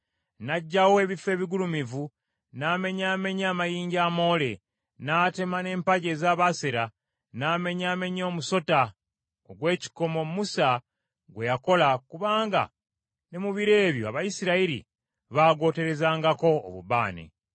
N’aggyawo ebifo ebigulumivu n’amenyaamenya amayinja amoole, n’atema n’empagi eza Baasera. N’amenyaamenya omusota ogw’ekikomo Musa gwe yakola, kubanga ne mu biro ebyo Abayisirayiri baagwoterezangako obubaane.